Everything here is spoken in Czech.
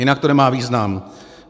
Jinak to nemá význam.